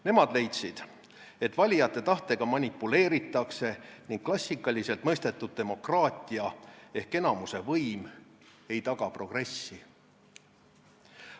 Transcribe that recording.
Nemad leidsid, et valijate tahtega manipuleeritakse ning klassikaliselt mõistetud demokraatia ehk enamuse võim ei taga progressi.